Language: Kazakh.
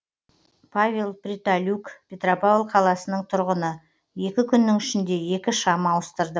павел притолюк петропавл қаласының тұрғыны екі күннің ішінде екі шам ауыстырдым